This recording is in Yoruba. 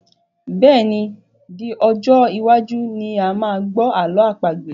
Bẹ́ẹ̀ni, di ọjọ́ iwájú ni a máa gbọ́ ààlọ́ àpagbè